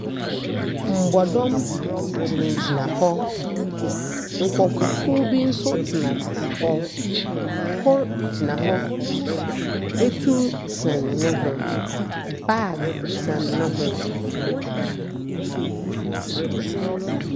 Mbɔdɔm gyinagyina hɔ. Nkrɔfokuw nso tenatena hɔ. Kor gyina hɔ. Atur sɛn ne ho. Bag sɛn ne ho.